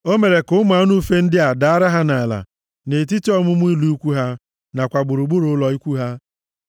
O mere ka ụmụ anụ ufe ndị a daara ha nʼala nʼetiti ọmụma ụlọ ikwu ha nakwa gburugburu ụlọ ikwu ha.